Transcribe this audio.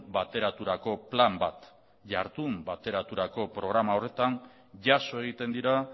bateraturako plan bat jardun bateraturako programa horretan jaso egiten dira